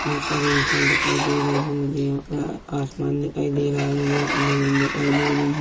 बहुत सारे इंसान दिखाई दे रहे है मुझे यहाँ पर आ-आसमान दिखाई दे रहा है मुझे यहाँ पर जमीन दिखाई दे रही है।